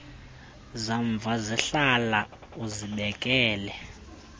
zamva zihlale uzibekele